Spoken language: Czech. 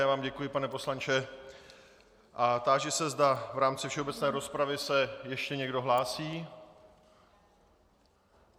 Já vám děkuji, pane poslanče, a táži se, zda v rámci všeobecné rozpravy se ještě někdo hlásí.